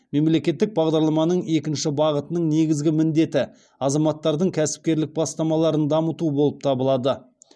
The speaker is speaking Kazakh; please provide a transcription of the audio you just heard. мемлекеттік бағдарламаның екінші бағытының негізгі міндеті азаматтардың кәсіпкерлік бастамаларын дамыту болып табылады